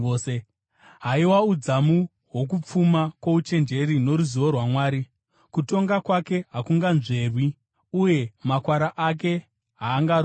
Haiwa, udzamu hwokupfuma kwouchenjeri noruzivo rwaMwari! Kutonga kwake hakunganzverwi, uye makwara ake haangarondwi!